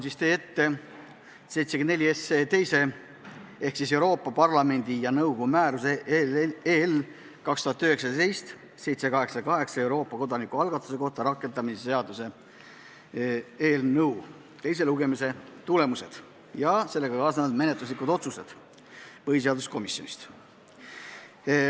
Toon teie ette 74 SE ehk siis Euroopa Parlamendi ja nõukogu määruse 2019/788 "Euroopa kodanikualgatuse kohta" rakendamise seaduse eelnõu teise lugemise eelse arutelu ja sellega kaasnenud menetluslikud otsused põhiseaduskomisjonis.